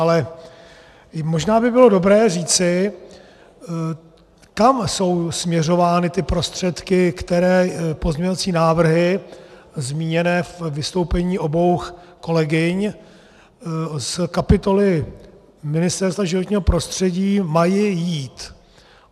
Ale možná by bylo dobré říci, kam jsou směřovány ty prostředky, které pozměňovací návrhy zmíněné ve vystoupení obou kolegyň z kapitoly Ministerstva životního prostředí mají jít.